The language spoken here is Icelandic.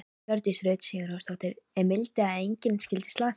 Hjördís Rut Sigurjónsdóttir: Er mildi að engin skyldi slasast?